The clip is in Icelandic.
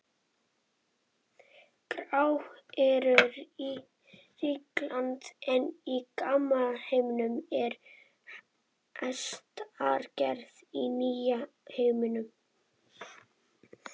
Grágæsirnar eru ríkjandi í gamla heiminum en helsingjarnir í nýja heiminum.